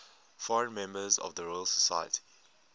foreign members of the royal society